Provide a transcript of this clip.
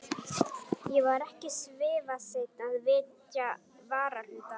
Ég var ekki svifaseinn að vitja varahlutanna.